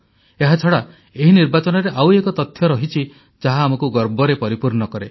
ଏହାଛଡ଼ା ଏହି ନିର୍ବାଚନରେ ଆଉ ଏକ ତଥ୍ୟ ରହିଛି ଯାହା ଆମକୁ ଗର୍ବରେ ପରିପୂର୍ଣ୍ଣ କରେ